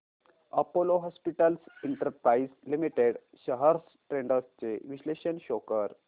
Apollo Hospitals Enterprise Limited shares trends चे विश्लेषण show कर